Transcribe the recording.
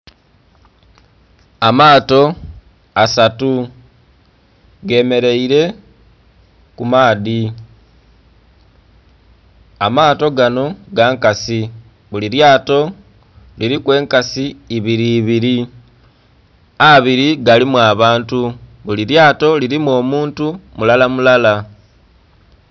Amaato asatu gemeleire ku maadhi amaato gano gankasi buli lyaato liriku enkasi ebiri ebiri ,abiri galimu abantu buli lyaato lirimu omuntu mulara mulara